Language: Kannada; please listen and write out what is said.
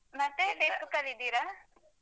ಮತ್ತೆ Facebook ಲ್ಲಿ ಇದ್ದೀರಾ?